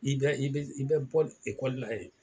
I bɛ i bɛ i bɛ bɔ ekɔlila yen